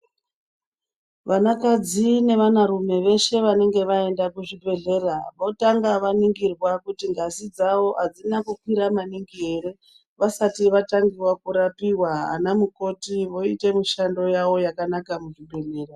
Vana kadzi nevana rume veshe vanenge vaenda kuzvibhedhlera votanga vaningirwa kuti ngazi dzawo adzina kukwira maningi ere vasati vatangiwa kurapiwa. Ana mukoti voite mishando yawo yakanaka muzvibhedhlera.